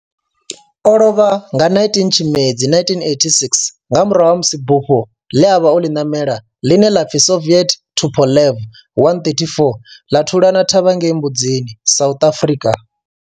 O lovha nga 19 Tshimedzi 1986 nga murahu ha musi bufho ḽe a vha o ḽi ṋamela, ḽine ḽa pfi Soviet Tupolev 134 ḽa thulana thavha ngei Mbuzini, South Africa.